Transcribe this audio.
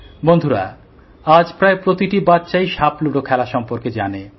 বন্ধুরা আজ প্রায় প্রতিটি বাচ্চাই সাপ লুডো খেলার সম্বন্ধে জানে